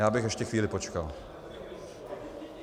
Já bych ještě chvíli počkal.